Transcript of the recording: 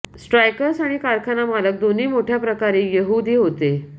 strikers आणि कारखाना मालक दोन्ही मोठ्याप्रकारे यहूदी होते